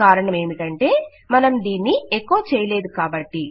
కారణమేమిటంటే మనం దీన్ని ఎకొ చేయలేదు కాబట్టి